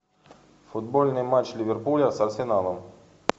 футбольный матч ливерпуля с арсеналом